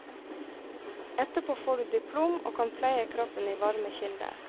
Etterpå får du diplom og kan pleie kroppen i varme kilder.